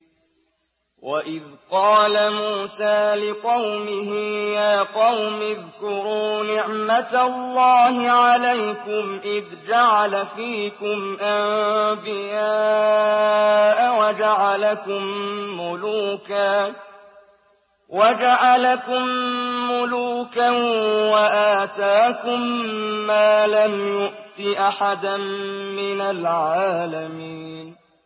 وَإِذْ قَالَ مُوسَىٰ لِقَوْمِهِ يَا قَوْمِ اذْكُرُوا نِعْمَةَ اللَّهِ عَلَيْكُمْ إِذْ جَعَلَ فِيكُمْ أَنبِيَاءَ وَجَعَلَكُم مُّلُوكًا وَآتَاكُم مَّا لَمْ يُؤْتِ أَحَدًا مِّنَ الْعَالَمِينَ